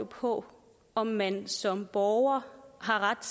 på om man som borger har ret